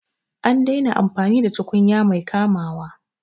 An daina amfani da tukunya mai kamawa